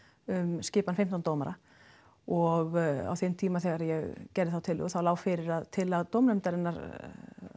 um skipan fimmtán dómara og á þeim tíma þegar ég gerði þá tillögu þá lá fyrir að tillaga dómnefndarinnar